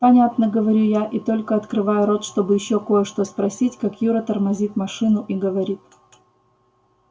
понятно говорю я и только открываю рот чтобы ещё кое-что спросить как юра тормозит машину и говорит